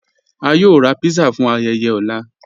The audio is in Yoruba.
À yóò rà pizza fún ayéyé ọ̀lá.